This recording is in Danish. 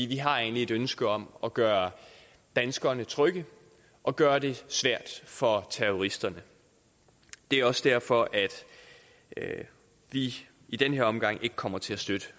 vi har egentlig et ønske om at gøre danskerne trygge og gøre det svært for terroristerne det er også derfor at vi i den her omgang ikke kommer til at støtte